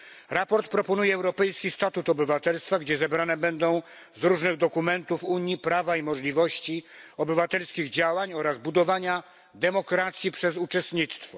Sprawozdanie proponuje europejski statut obywatelstwa, gdzie zebrane będą z różnych dokumentów Unii prawa i możliwości obywatelskich działań oraz budowania demokracji przez uczestnictwo.